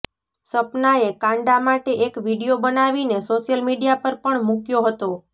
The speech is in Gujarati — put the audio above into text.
સપનાએ કાંડા માટે એક વીડિયો બનાવીને સોશયલ મીડિયા પર પણ મૂક્યો હતો